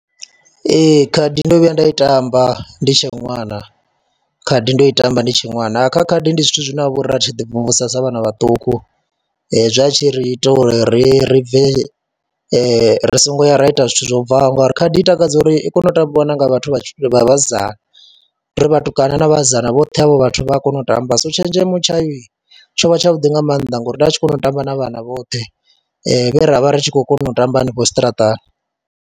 Ee, khadi ndo vhuya nda i tamba ndi tshe ṅwana, khadi ndo i tamba ndi tshe ṅwana. Kha khadi ndi zwithu zwine ha vha uri ra tshi ḓimvumvusa sa vhana vhaṱuku, zwa tshi ri ita uri ri ri bve ri songo ya ra ita zwithu zwo bvaho ngori khadi i takadza uri i kona u tambiwa na nga vhathu vha vhasidzana, ndi ri vhatukana na vhasidzana vhoṱhe havho vhathu vha a kona u tamba. So tshenzhemo tshayo tsho vha tshavhuḓi nga maanḓa ngori nda vha tshi kona u tamba na vhana vhoṱhe vhe ra vha ri tshi khou kona u tamba hanefho tshiṱaratani.